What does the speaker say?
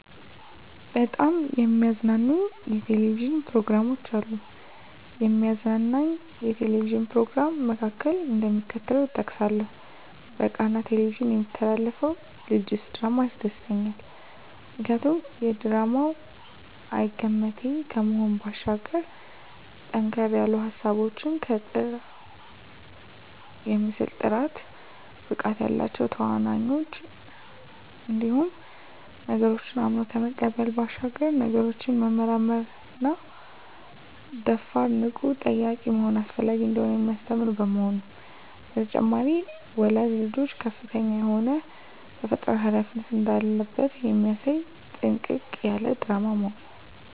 በጣም የሚያዝናኑኝ የ"ቴሌቪዥን" ፕሮግራሞች አሉ፣ ከሚያዝናናኝ የ"ቴሌቪዥን" "ፕሮግራም" መካከል፣ እደሚከተለው እጠቅሳለሁ በቃና "ቴሌቪዥን" የሚተላለፈው ልጀስ ድራማ ያስደስተኛል። ምክንያቱ ድራማው አይገመቴ ከመሆኑ ባሻገር ጠንከር ያሉ ሀሳቦች ከጥሩ የምስል ጥራት፣ ብቃት ያላቸው ተዋናኞች እንዲሁም ነገሮችን አምኖ ከመቀበል ባሻገር ነገሮችን መመርመርና ደፋር፣ ንቁና ጠያቂ መሆን አስፈላጊ እንደሆነ የሚያስተምር በመሆኑ። በተጨማሪም ወላጅ ልጆቹ ከፍተኛ የሆነ ተፈጥሮአዊ ሀላፊነት እንዳለበት የሚያሳይ ጥንቅቅ ያለ ድራማ በመሆኑ።